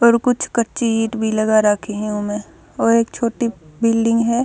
ऊपर कुछ कच्ची ईंट भी लगा रखी ह उमह और एक छोटी बिल्डिंग ह।